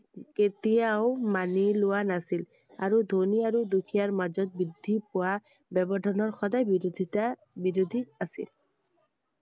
কেতিয়াও মানি লোৱা নাছিল। আৰু ধনী আৰু দুখীয়াৰ মাজত বৃদ্ধি পোৱা ব্য়ৱধানৰ সদায় বিৰোধিতা~বিৰোধী আছিল।